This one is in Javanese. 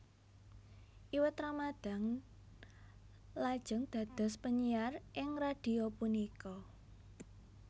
Iwet Ramadhan lajeng dados penyiar ing radhio punika